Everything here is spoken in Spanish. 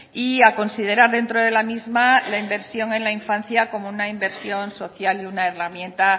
y a considerar dentro de la misma la inversión en la infancia como una inversión social y una herramienta